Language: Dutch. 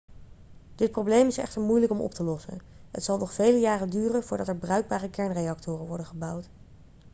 dit probleem is echter moeilijk om op te lossen het zal nog vele jaren duren voordat er bruikbare kernreactoren worden gebouwd